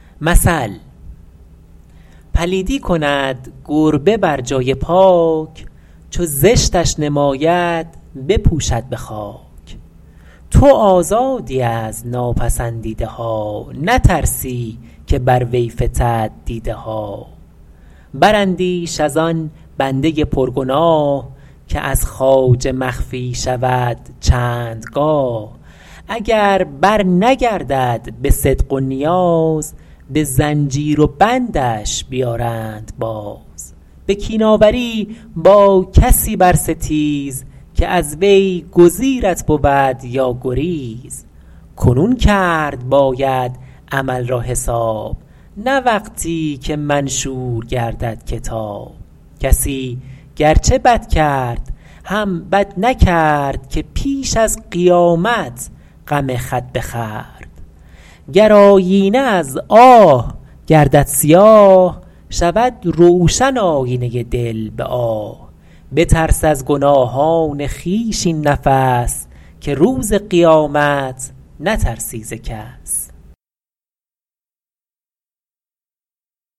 پلیدی کند گربه بر جای پاک چو زشتش نماید بپوشد به خاک تو آزادی از ناپسندیده ها نترسی که بر وی فتد دیده ها براندیش از آن بنده پرگناه که از خواجه مخفی شود چند گاه اگر برنگردد به صدق و نیاز به زنجیر و بندش بیارند باز به کین آوری با کسی برستیز که از وی گزیرت بود یا گریز کنون کرد باید عمل را حساب نه وقتی که منشور گردد کتاب کسی گرچه بد کرد هم بد نکرد که پیش از قیامت غم خود بخورد گر آیینه از آه گردد سیاه شود روشن آیینه دل به آه بترس از گناهان خویش این نفس که روز قیامت نترسی ز کس